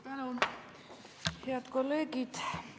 Head kolleegid!